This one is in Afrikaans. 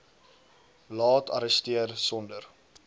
laat arresteer sonder